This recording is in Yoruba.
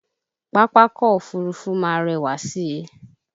Pápákọ̀ Òfurufú máa rẹwà si